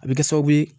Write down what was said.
A bɛ kɛ sababu ye